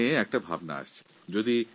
আমার মনে একটা নতুন ভাবনা এসেছে